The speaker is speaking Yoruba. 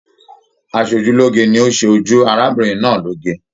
Asojuloge ni o se ojú arábìnrin náà loge.